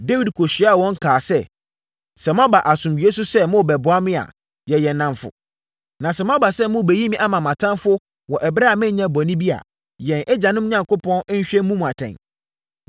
Dawid kɔhyiaa wɔn kaa sɛ, “Sɛ moaba asomdwoeɛ so sɛ morebɛboa me a, yɛyɛ nnamfo. Na sɛ moaba sɛ morebɛyi me ama mʼatamfoɔ wɔ ɛberɛ a menyɛɛ bɔne bi a, yɛn agyanom Onyankopɔn nhwɛ mmu mo atɛn.”